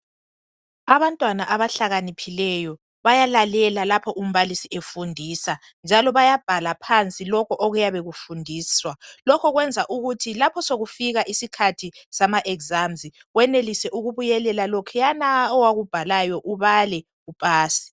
Abantwana abahlakaniphileyo bayalalela lapho umbalisi efundisa njalo bayabhala phansi konke okuyabe kufundiswa. Lokhu kwenzela ukuthi lapho sekufika isikhath sama exsms wenelise ukubuyelela lokhuyana pwakubhalayo ubale upase.